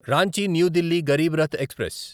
Ranchi new Delhi Garib Rath express